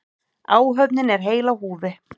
Áhöfnin er heil á húfi